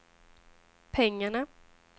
pengarna